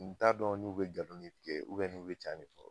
N t'a dɔn n'u be galon de tigɛ ubiyɛn n'u be cɛn de fɔ